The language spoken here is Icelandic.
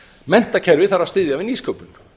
menntakerfið þarf að styðja við nýsköpun